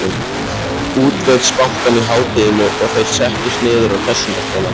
Útvegsbankann í hádeginu og þeir settust niður á Hressingarskálanum.